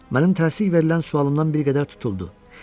Mənim təzyiq verilən sualımdan bir qədər tutuldu.